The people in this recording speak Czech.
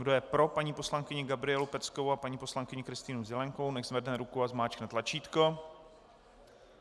Kdo je pro paní poslankyni Gabrielu Peckovou a paní poslankyni Kristýnu Zelienkovou, nechť zvedne ruku a zmáčkne tlačítko.